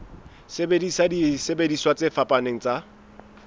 sebedisa disebediswa tse fapaneng tsa